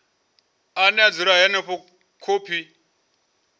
ane a dzula henefho khophi